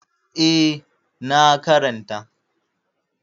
Eh, na karanta.